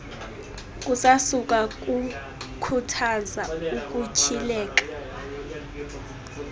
kusasukwa khuthaza ukutyhileka